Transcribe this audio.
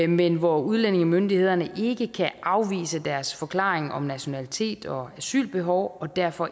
men hvor udlændingemyndighederne ikke kan afvise deres forklaring om nationalitet og asylbehov og derfor